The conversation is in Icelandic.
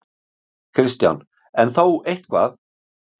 Kristján: En þó eitthvað?